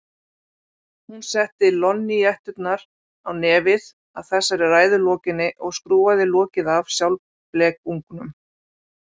Hún setti lonníetturnar á nefið að þessari ræðu lokinni og skrúfaði lokið af sjálfblekungnum.